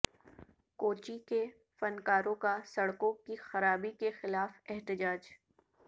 کوچی کے فنکاروں کا سڑکوں کی خرابی کیخلاف احتجاج